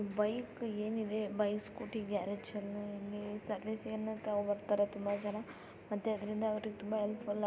Bike ಏನ್‌ ಇದೆ bike scooty ಗ್ಯಾರೇಜ್‌ಗೆ ಸರ್ವಿಸ್‌ ಬರ್ತಾರೆ ತುಂಬಾ ಜನ ಮತ್ತೆ ಅದರಿಂದ ಅವರಿಗೆ ತುಂಬಾ ಹೆಲ್ಪ್‌ಫುಲ್‌ ಆಗುತ್ತೆ.